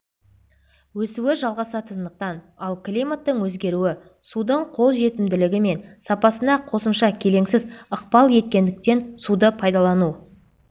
өсуі жалғасатындықтан ал климаттың өзгеруі судың қолжетімділігі мен сапасына қосымша келеңсіз ықпал ететіндіктен суды пайдалану